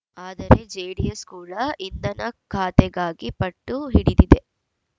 ಆದರೆ ಜೆಡಿಎಸ್‌ ಕೂಡ ಇಂಧನ ಖಾತೆಗಾಗಿ ಪಟ್ಟು ಹಿಡಿದಿದೆ